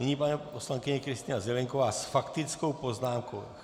Nyní paní poslankyně Kristýna Zelienková s faktickou poznámkou.